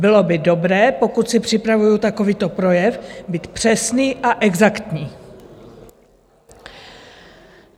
Bylo by dobré, pokud si připravuji takovýto projev, být přesný a exaktní.